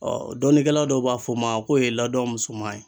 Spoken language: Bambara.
dɔnikɛla dɔw b'a f'ɔ ma k'o ye ladɔn musoman ye.